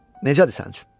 Necədir sənin üçün?